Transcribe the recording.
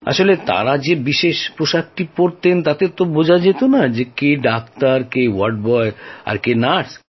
আসলে তাঁরা সেই বিশেষ পোশাকটি পড়তেন তো তাই বোঝা যেত না কে ডাক্তার কে ওয়ার্ড বয় বা কে নার্স